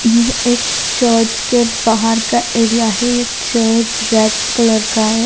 यह एक चर्च का बाहर का एरिया है चर्च रेड कलर का है।